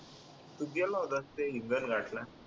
तू गेला होतास ते हिंगणघाट ला